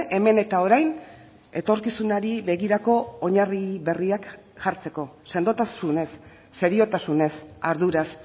hemen eta orain etorkizunari begirako oinarri berriak jartzeko sendotasunez seriotasunez arduraz